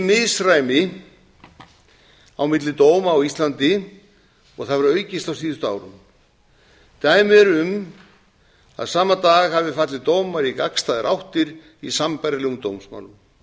misræmi á milli dóma á íslandi og það hefur aukist á síðustu árum dæmi eru um að sama dag hafi fallið dómar í gagnstæðar áttir í sambærilegum dómsmálum